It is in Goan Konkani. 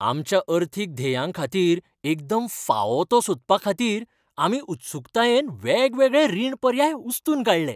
आमच्या अर्थीक ध्येयांखातीर एकदम फावो तो सोदपाखातीर आमी उत्सूकतायेन वेगवेगळे रीण पर्याय उस्तून काडले.